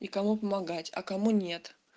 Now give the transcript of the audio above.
и кому помогать а кому нет